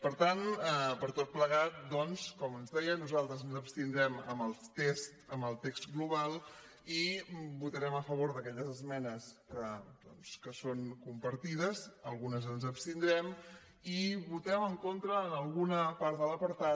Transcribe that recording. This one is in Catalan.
per tant per tot plegat com els deia nosaltres ens abstindrem en el text global i votarem a favor d’aquelles esmenes que són compartides en algunes ens abstindrem i votem en contra en alguna part de l’apartat